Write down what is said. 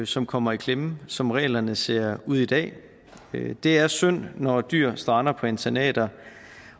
som kommer i klemme som reglerne ser ud i dag det er synd når dyr strander på internater